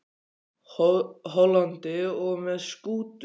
Hollandi og með skútu til Amsterdam og áfram til Þýskalands.